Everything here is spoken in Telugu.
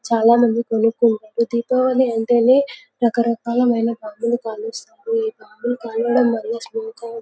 చాల మంది కొనుకుంటారు దీపావళి అంటేనే రకరకాల బాంబులు కలుస్తారు ఈ బాంబులు కాల్చడం వాళ్ళ.